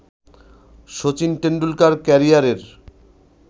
শচীন টেন্ডুলকার ক্যারিয়ারের